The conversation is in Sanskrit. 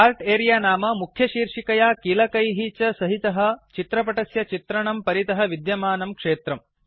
चार्ट् अरेऽ नाम मुख्यशीर्षिकया कीलकैः च सहितः चित्रपटस्य चित्रणं परितः विद्यमानं क्षेत्रम्